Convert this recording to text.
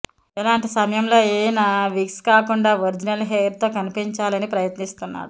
ఇలాంటి సమయంలో ఈయన విగ్స్ కాకుండా ఒరిజినల్ హెయిర్తో కనిపించాలని ప్రయత్నిస్తున్నాడు